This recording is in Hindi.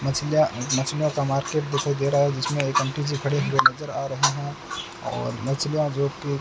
मछलियां मछलियों का मार्केट दिखाई दे रहा है जिसमें एक आंटी जी खड़ी नजर आ रही है और मछलियां जोकि --